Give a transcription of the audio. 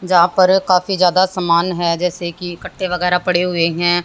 जहां पर काफी जादा समान है जैसे कि कट्टे वगैर पड़े हुए हैं।